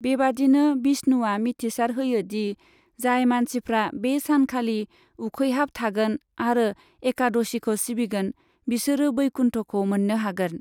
बेबादिनो विष्णुआ मिथिसार होयो दि जाय मानसिफ्रा बे सान खालि उखैहाब थागोन आरो एकादशीखौ सिबिगोन, बिसोरो वैकुन्ठखौ मोननो हागोन।